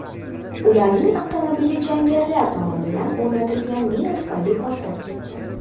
Ularning avtomobili jangarilar tomonidan o‘rnatilgan mina tufayli portlab ketdi.